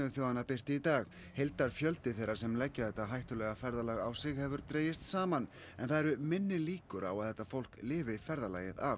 þjóðanna birti í dag heildarfjöldi þeirra sem leggja þetta hættulega ferðalag á sig hefur dregist saman en það eru minni líkur á að þetta fólk lifi ferðalagið af